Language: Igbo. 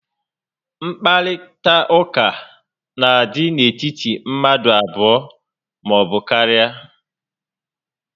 Nkparịta ụka n'adị n'etiti mmadụ abụọ maọbụ karịa